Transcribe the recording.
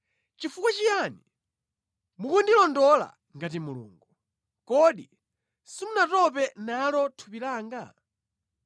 Chifukwa chiyani mukundilondola ngati Mulungu? Kodi simunatope nalo thupi langa?